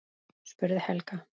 spurði Helga.